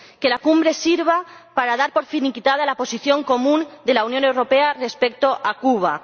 Que la Cumbre sirva para dar por finiquitada la posición común de la Unión Europea respecto a Cuba.